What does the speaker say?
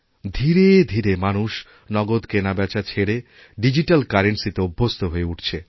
ধীরে ধীরে মানুষ নগদ কেনাবেচা ছেড়ে ডিজিটালকারেন্সি তে অভ্যস্ত হয়ে উঠছে